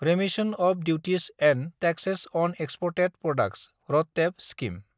remission of duties and tax on exported products (RoDTEP) scheme